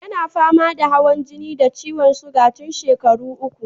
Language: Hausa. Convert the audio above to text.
Yana fama da hawan jini da ciwon siga tun shekaru uku.